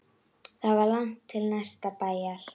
Það var langt til næsta bæjar.